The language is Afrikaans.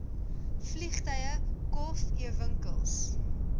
vliegtuie kof ewinkels